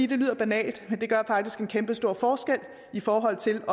det lyder banalt men det gør faktisk en kæmpestor forskel i forhold til